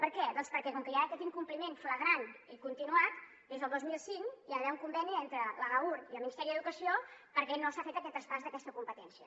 per què doncs perquè com que hi ha aquest incompliment flagrant i continuat des del dos mil cinc hi ha d’haver un conveni entre l’agaur i el ministeri d’educació perquè no s’ha fet aquest traspàs d’aquesta competència